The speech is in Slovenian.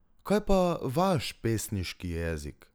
Kaj pa vaš pesniški jezik?